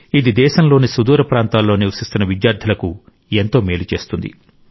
ఇది దేశంలోని సుదూర ప్రాంతాల్లో నివసిస్తున్న విద్యార్థులకు ఎంతో మేలు చేస్తుంది